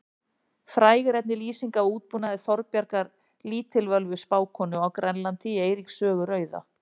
Fræg er einnig lýsing af útbúnaði Þorbjargar lítilvölvu spákonu á Grænlandi í Eiríks sögu rauða.